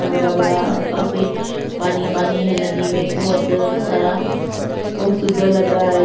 बड़ा-बड़ा औऱ काफी पानी पानी हैं नदी मैं बोहोत अ सारा बोहोत सुंदर लग रहा हैं ये।